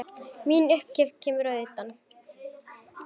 Mín upphefð kemur að utan.